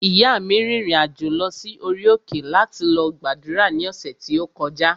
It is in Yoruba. Ìyáa mi rìnrìn-àjò lọ sí orí òkè láti lọ gbàdúrà ní ọ̀sẹ̀ tí ó kọjá